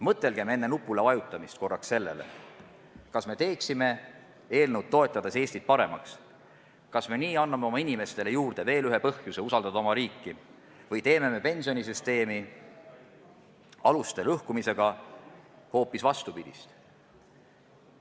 Mõtelgem enne nupule vajutamist korraks sellele, kas me teeme eelnõu toetades Eestit paremaks ja kas me nii anname oma inimestele juurde veel ühe põhjuse usaldada oma riiki või teeme pensionisüsteemi aluste lõhkumisega hoopis vastupidist.